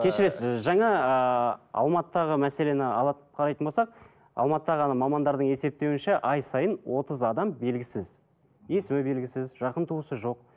кешіресіз жаңа ыыы алматыдағы мәселені алып қарайтын болсақ алматыдағы мамандардың есептеуінше ай сайын отыз адам белгісіз есімі белгісіз жақын тусысы жоқ